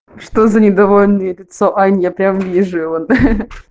что за недовольное лицо ань прям вижу его ха-ха